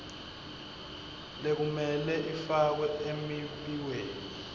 lekumele ifakwe emibikweni